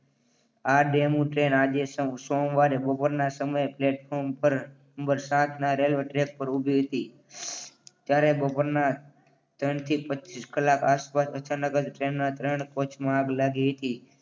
આ demo train આજે સોમવારે બપોરે ના સમયે પ્લેટફોર્મ ઉપર નંબર સાતના રેલવે ટ્રેક પર ઉભી હતી. ત્યારે બપોરના ત્રણથી પચ્ચીસ કલાક આસપાસ અચાનક જ ટ્રેનના ત્રણ કોચમાં આગ લાગી હતી.